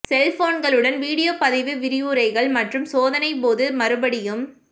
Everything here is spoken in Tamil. செல் போன்களுடன் வீடியோ பதிவு விரிவுரைகள் மற்றும் சோதனை போது மறுபடியும்